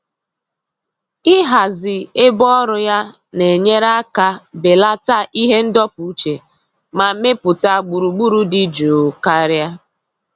Ịhazi ebe ọrụ ya na-enyere aka belata ihe ndọpụ uche ma mepụta gburugburu dị jụụ karịa.